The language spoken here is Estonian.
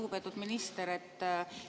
Lugupeetud minister!